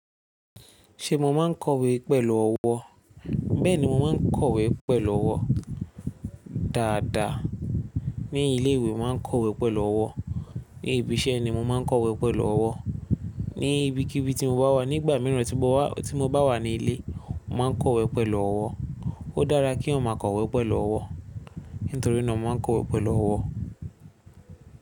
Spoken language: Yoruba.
Ṣé mo máa ń kọ̀wé pẹ̀lú ọwọ́? Bẹ́ẹ̀ni, mo máa ń kọ̀wé pẹ̀lú ọwọ́ dáadáa. Ní ilé ìwé, mo máa ń kọ̀wé pẹ̀lú ọwọ́, ní ibi iṣẹ́ ni, mo máa ń kọ̀wé pẹ̀lú ọwọ́, ní ibikíbi tí mo bá wà. Nìgbà míìràn, tí mo bá wà nílé, mo máa ń kọwé pẹ̀lú ọwọ́. Ó dára kí ẹẹyán máa kọwé pẹ̀lú ọwọ́, nítorí náà, mo máa ń kọwé pẹ̀lú ọwọ́.